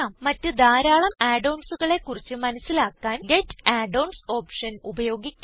മറ്റ് ധാരാളം Add onsകളെ കുറിച്ച് മനസിലാക്കാൻ ഗെറ്റ് Add onsഓപ്ഷൻ ഉപയോഗിക്കാം